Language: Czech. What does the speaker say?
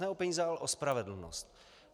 Ne o peníze, ale o spravedlnost.